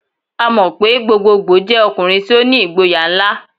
A mọ pe gbogbogboo jẹ ọkunrin ti o ni igboya nla.